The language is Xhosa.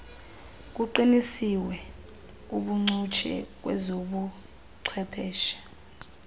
kuqiniswe ubuncutshe kwezobuchwepheshe